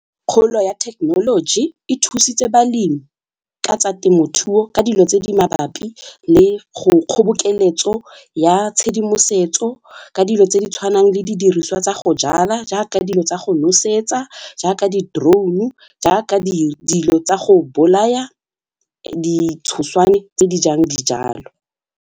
Kgolo ya technology e thusitse balemi ka tsa temothuo ka dilo tse di mabapi le go kgobokeletso ya tshedimosetso ka dilo tse di tshwanang le didiriswa tsa go jala jaaka dilo tsa go nosetsa jaaka di-drone jaaka dilo tsa go bolaya ditshoswane tse di jang dijalo.